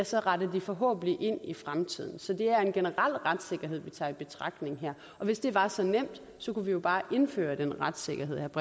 så retter de forhåbentlig ind i fremtiden så det er en generel retssikkerhed vi skal tage i betragtning her hvis det var så nemt kunne vi jo bare indføre den retssikkerhed